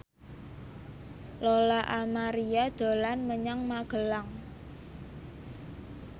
Lola Amaria dolan menyang Magelang